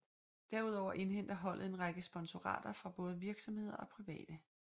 Derudover indhenter holdet en række sponsorater fra både virksomheder og private